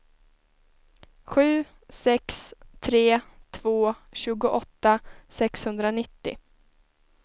sju sex tre två tjugoåtta sexhundranittio